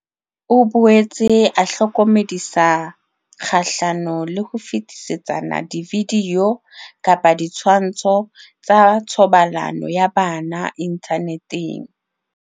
O boetse a hlokomedisa kgahlano le ho fetisetsana dividio kapa ditshwantsho tsa thobalano ya bana inthaneteng.